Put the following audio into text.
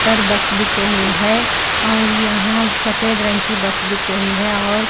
यहाँ बस दिख रही है और यहां सफेद रंग की बस दिख रही है|